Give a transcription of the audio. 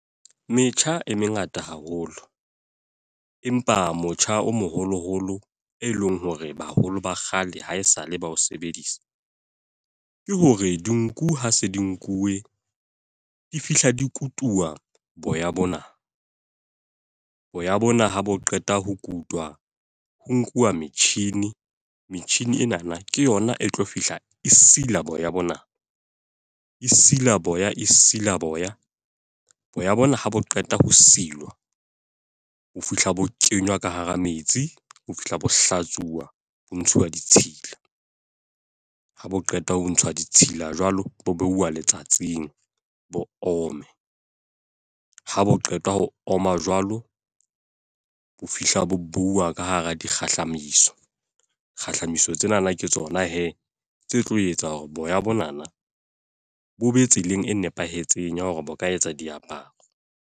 Metjha e mengata haholo. Empa motjha o moholo holo e leng hore baholo ba kgale haesale bao sebedisa. Ke hore dinku ha se di nkuwe, di fihla di kutuwa boya bona. Boya bona ha bo qeta ho kutwa, ho nkuwa metjhini. Metjhini ena na ke yona e tlo fihla e sila boya bona. E sila boya, e sila boya. Boya bona ha bo qeta ho silwa, ho fihla bo kenywa ka hara metsi. Ho fihla bo hlatsuwa, ho ntshuwa ditshila. Ha bo qeta ho ntshwa ditshila jwalo, bo behuwa letsatsing bo ome. Ha bo qetwa ho oma jwalo, ho fihla bo beuwa ka hara dikgahlamiso. Kgahliso tsenana ke tsona he, tse tlo etsa hore boya bonana bo be tseleng e nepahetseng ya hore bo ka etsa diaparo.